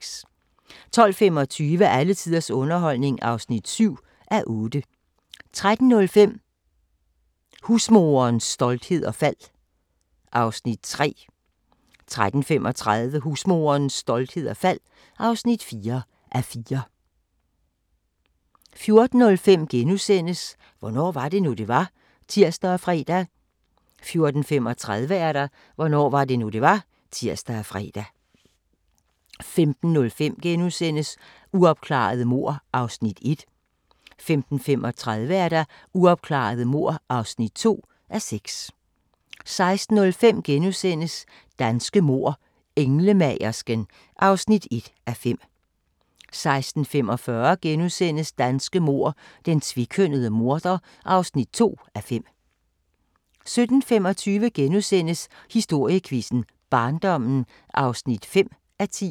12:25: Alle tiders underholdning (7:8) 13:05: Husmorens storhed og fald (3:4) 13:35: Husmorens storhed og fald (4:4) 14:05: Hvornår var det nu, det var? *(tir og fre) 14:35: Hvornår var det nu, det var? (tir og fre) 15:05: Uopklarede mord (1:6)* 15:35: Uopklarede mord (2:6) 16:05: Danske mord: Englemagersken (1:5)* 16:45: Danske mord: Den tvekønnede morder (2:5)* 17:25: Historiequizzen: Barndommen (5:10)*